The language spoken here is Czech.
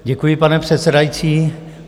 Děkuji, pane předsedající.